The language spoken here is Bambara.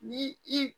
Ni i